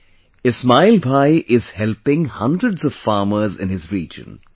Today, Ismail Bhai is helping hundreds of farmers in his region